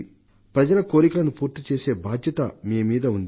ప్రజల కోరికలను పూర్తి చేసే బాధ్యత మీ మీద ఉంది